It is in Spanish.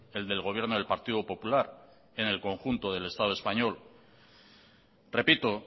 el del gobierno del partido popular en el conjunto del estado español repito